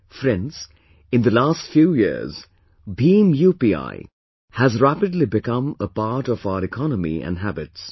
Friends, in the last few years, BHIM UPI has rapidly become a part of our economy and habits